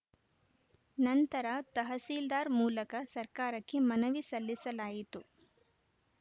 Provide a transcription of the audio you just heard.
ನಂತರ ತಹಸೀಲ್ದಾರ್‌ ಮೂಲಕ ಸರ್ಕಾರಕ್ಕೆ ಮನವಿ ಸಲ್ಲಿಸಲಾಯಿತು